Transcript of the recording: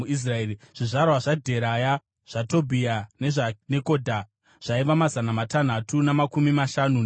Zvizvarwa zvaDheraya, zvaTobhia nezvaNekodha zvaiva mazana matanhatu namakumi mashanu navaviri.